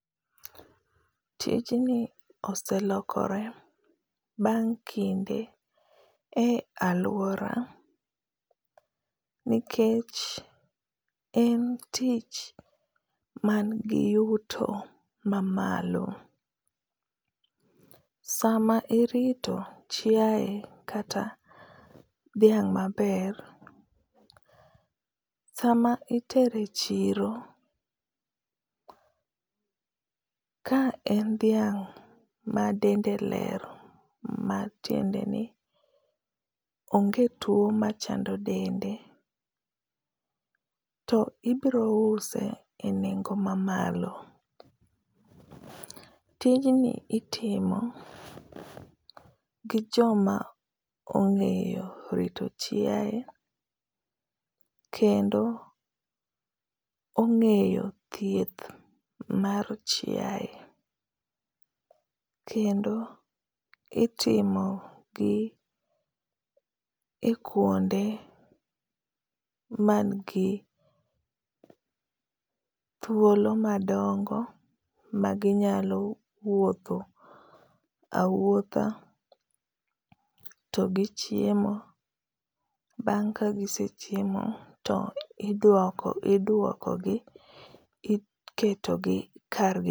Tinji oselokore bang' kinde e alwora nikech en tich manigi yuto mamalo. Sama irito chiae kata dhiang' maber, sama itere chiro. Ka en dhiang' ma dende ler, matiende ni onge two machando dende, to ibiro use e nengo mamalo. Tijni itimo gi joma ongéyo rito chiae, kendo ongéyo thieth mar chiae. Kendo itimo gi e kuonde man gi thuolo madongo maginyalo wuotho awuotha to gichiemo. Bang' ka gisechiemo to iduoko, iduokogi, iketogi kargi.